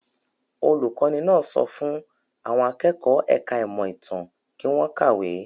Olùkọ́ní náà sọ fún àwọn akẹ́kọ̀ọ́ ẹ̀ka-ìmọ̀ ìmọ̀-ìtàn kí wọ́n kàwé.